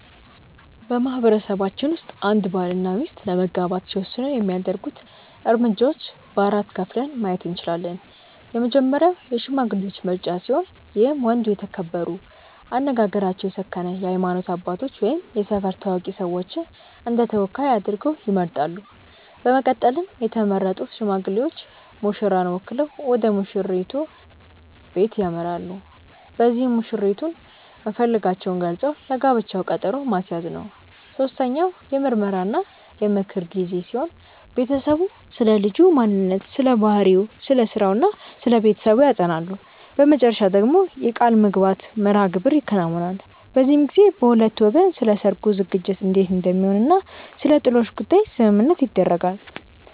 በማህበረሰባችን ውስጥ አንድ ባል እና ሚስት ለመጋባት ሲወስኑ የሚያደርጉት እርምጃዎች በ4 ከፍለን ማየት እንችላለን። የመጀመሪያው የሽማግሌዎች ምርጫ ሲሆን ይህም ወንዱ የተከበሩ፣ አነጋገራቸው የሰከነ የሃይማኖት አባቶች ወይም የሰፈር ታዋቂ ሰዎችን እንደተወካይ አድርገው ይመርጣሉ። በመቀጠልም የተመረጡት ሽማግሌዎች ሙሽራን ወክለው ወደሙሽራይቱ በለት ያመራሉ። በዚህም መሽራይቱን መፈለጋቸውን ገልፀው ለጋብቻው ቀጠሮ ማስያዝ ነው። ሶስተኛው የምርመራ እና የምክር ጊዜ ሲሆን ቤተሰቡ ስለልጁ ማንነት ስለባህሪው፣ ስለስራው እና ስለቤተሰቡ ያጠናሉ። በመጨረሻ ደግሞ የቃልምግባት መርሐግብር ይከናወናል። በዚህም ጊዜ በሁለቱ ወገን ስለሰርጉ ዝግጅት እንዴት እንደሚሆን እና ስለጥሎሽ ጉዳይ ስምምነት ይደረጋል።